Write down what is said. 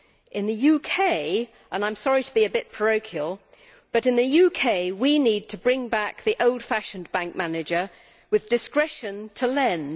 In the UK and I am sorry to be a bit parochial we need to bring back the old fashioned bank manager with discretion to lend.